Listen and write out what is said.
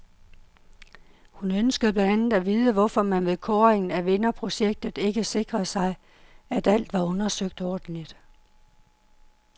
Hun ønskede blandt andet at vide, hvorfor man ved kåringen af vinderprojektet ikke sikrede sig, at alt var undersøgt ordentligt.